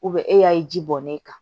e y'a ye ji bɔnnen kan